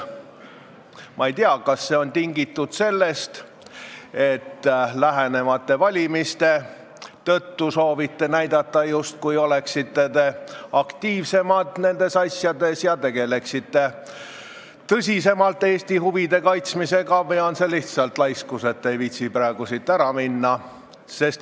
Ma ei tea, kas see on tingitud sellest, et te lähenevate valimiste tõttu soovite näidata, justkui te oleksite nendes asjades aktiivsemad ja tegeleksite tõsisemalt Eesti huvide kaitsmisega, või on see lihtsalt laiskus, et te ei viitsi praegu siit ära minna.